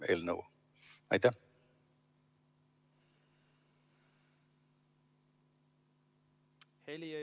Heli ei ole.